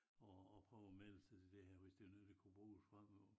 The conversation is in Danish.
At at prøve at melde sig til det her hvis det var noget der kunne bruges fremover